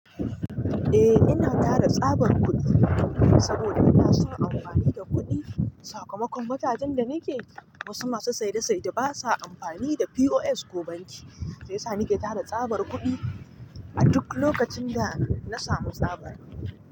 Eh, ina tara tsabar kudi saboda ina so in amfani da kudi. Sakamakon mutanen da nake, wasu masu saida saida basa amfani da POS ko banki, sai sa nake tara tsabar kudi a duk lokacin da na samu tsabar.